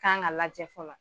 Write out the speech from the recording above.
Kan ka ka lajɛ fɔlɔ